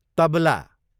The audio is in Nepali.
तबला